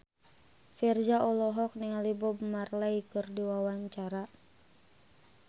Virzha olohok ningali Bob Marley keur diwawancara